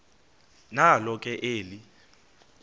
nalo ke eli